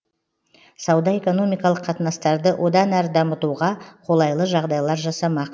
сауда экономикалық қатынастарды одан әрі дамытуға қолайлы жағдайлар жасамақ